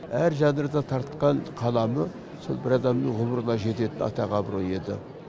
әр жанрда тартқан қаламы сол бір адамның ғұмырына жететін атақ абырой еді